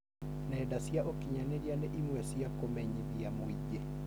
Nenda cia ũkinyanĩria nĩ ĩmwe cia kũmenyithia mũingĩ.